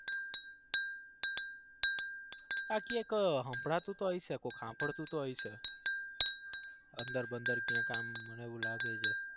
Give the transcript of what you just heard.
આખી એક હભલાતું તો હોય છે કોક સાંભળતું તો હોય છે અંદર બંદર ક્યાંક આમ મને એવું લાગે છે.